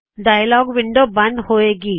dialog window ਬੰਦ ਹੋਵੇ ਗੀ